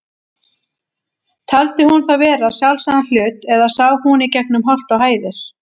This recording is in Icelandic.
Taldi hún það vera sjálfsagðan hlut, eða sá hún í gegnum holt og hæðir?